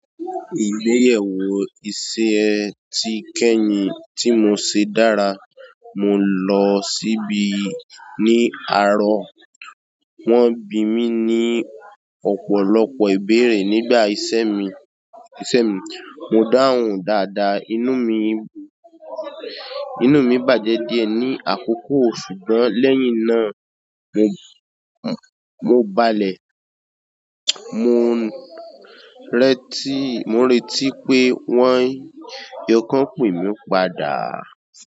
Igbeyewo iṣẹ́ ìkẹyìn tí mo ṣe dára, mo lo si'bi ni àárọ̀. Won bí mí ní ọ̀pọ̀lọpọ̀ ìbéèrè ni pa iṣẹ́ mí. Mo dáhùn dáadáa, inú mi, inú mi bàjẹ́ díẹ̀ ní àkókò, ṣùgbọ́n lẹ́yìn náà mo, mo balẹ̀. Mo n retí, mo n retí pé wọ́n yẹ kan pé mí padà.